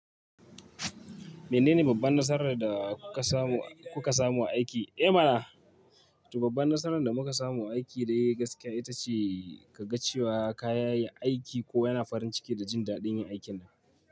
Menene babban nasarar da kuka samu a kuka samu aiki? Eh mana, to babban nasarar da muka samu a aiki dai gaskiya ita ce ka ga cewa ka yayi aiki kowa yana farin ciki da jin daɗin yin aikinta.